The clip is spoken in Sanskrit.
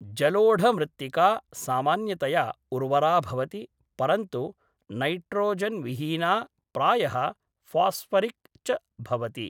जलोढमृत्तिका सामान्यतया उर्वरा भवति, परन्तु नैट्रोजेन्‌विहीना, प्रायः फ़ास्फ़रिक् च भवति।